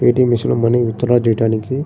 ఏ. T. M. Machine money withdraw చేయడానికి --